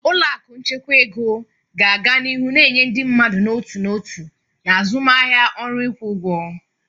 Ụlọ akụ nchekwa ego ga-aga n'ihu na-enye ndị mmadụ n'otu n'otu na azụmaahịa ọrụ ịkwụ ụgwọ.